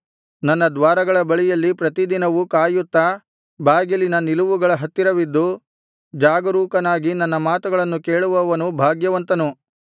ನನ್ನ ದ್ವಾರಗಳ ಬಳಿಯಲ್ಲಿ ಪ್ರತಿದಿನವೂ ಕಾಯುತ್ತಾ ಬಾಗಿಲಿನ ನಿಲವುಗಳ ಹತ್ತಿರವಿದ್ದು ಜಾಗರೂಕನಾಗಿ ನನ್ನ ಮಾತುಗಳನ್ನು ಕೇಳುವವನು ಭಾಗ್ಯವಂತನು